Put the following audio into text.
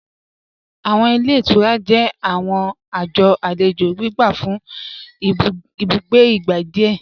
Awọn ilẹ̀ ìtúrà jẹ̀ awọn ajọ̀ alẹjo gbígbà fún ìbùgbé igbá díẹ̀.